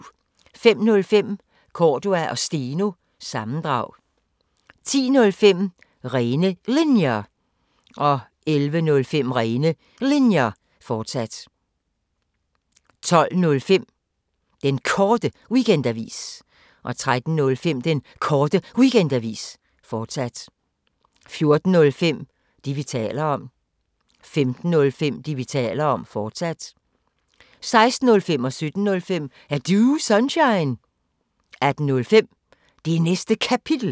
05:05: Cordua & Steno – sammendrag 10:05: Rene Linjer 11:05: Rene Linjer, fortsat 12:05: Den Korte Weekendavis 13:05: Den Korte Weekendavis, fortsat 14:05: Det, vi taler om 15:05: Det, vi taler om, fortsat 16:05: Er Du Sunshine? 17:05: Er Du Sunshine? 18:05: Det Næste Kapitel